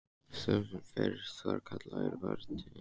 Sá fyrsti sem kallaður var til yfirheyrslu var Gunnlaugur sterki.